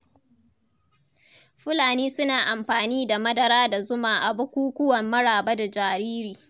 Fulani suna amfani da madara da zuma a bukukuwan maraba da jariri.